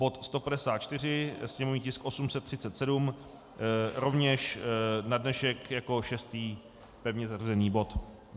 Bod 154, sněmovní tisk 837, rovněž na dnešek jako šestý pevně zařazený bod.